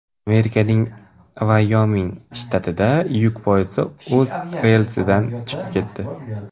Amerikaning Vayoming shtatida yuk poyezdi o‘z relsidan chiqib ketdi.